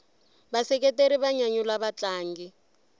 vaseketeri va nyanyula vatlangi